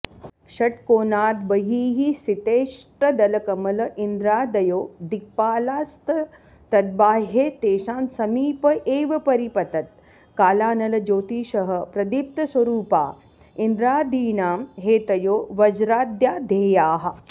षट्कोणाद्बहिःस्थितेऽष्टदलकमल इन्द्रादयो दिक्पालास्तद्बाह्ये तेषां समीप एव परिपतत्कालानलज्योतिषः प्रदीप्तस्वरूपा इन्द्रादीनां हेतयो वज्राद्या ध्येयाः